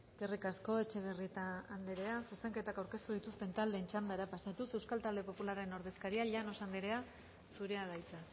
eskerrik asko etxebarrieta andrea zuzenketak aurkeztu dituzten taldeen txandara pasatuz euskal talde popularraren ordezkaria llanos andrea zurea da hitza